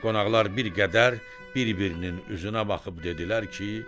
Qonaqlar bir qədər bir-birinin üzünə baxıb dedilər ki: